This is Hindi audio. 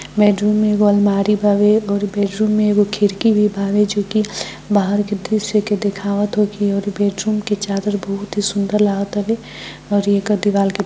बेडरूम मे एगो अलमारी बारे और बेडरूम मे एगो खिड़की भी बाड़े जोकि बाहर के दृश्य बेडरूम के चादर बहुत सुंदर लागेतारे और एकड़ दीवाल --